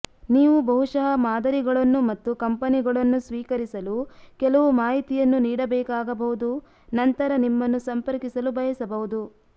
ನೀವು ಬಹುಶಃ ಮಾದರಿಗಳನ್ನು ಮತ್ತು ಕಂಪನಿಗಳನ್ನು ಸ್ವೀಕರಿಸಲು ಕೆಲವು ಮಾಹಿತಿಯನ್ನು ನೀಡಬೇಕಾಗಬಹುದು ನಂತರ ನಿಮ್ಮನ್ನು ಸಂಪರ್ಕಿಸಲು ಬಯಸಬಹುದು